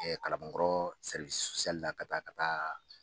Kalabankɔrɔ ka taa ka taa